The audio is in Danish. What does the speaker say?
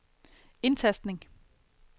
indtastning